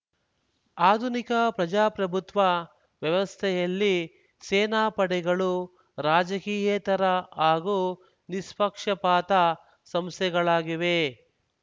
ಆಧುನಿಕ ಪ್ರಜಾಪ್ರಭುತ್ವ ವ್ಯವಸ್ಥೆಯಲ್ಲಿ ಸೇನಾಪಡೆಗಳು ರಾಜಕಿಯೇತರ ಹಾಗೂ ನಿಸ್ಪಕ್ಷಪಾತ ಸಂಸ್ಥೆಗಳಾಗಿವೆ